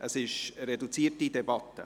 Wir führen eine reduzierte Debatte.